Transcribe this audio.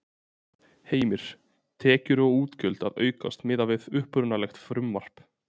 Heimir: Tekjur og útgjöld að aukast miðað við upprunalegt frumvarp?